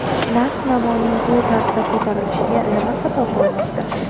Narx-navoning bu tarzda ko‘tarilishiga nima sabab bo‘lmoqda?